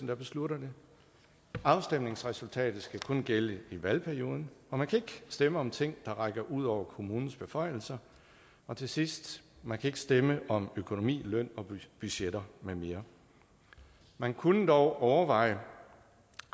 der beslutter det afstemningsresultatet skal kun gælde i valgperioden og man kan ikke stemme om ting der rækker ud over kommunens beføjelser og til sidst man kan ikke stemme om økonomi løn og budgetter med mere man kunne dog overveje